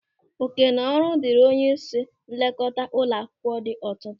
Òkènaọrụ dịrị onyeisi nlekọta ụlọ akwụkwọ dị ọtụtụ.